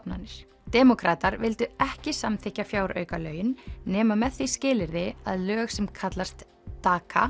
á demókratar vildu ekki samþykkja fjáraukalögin nema með því skilyrði að lög sem kallast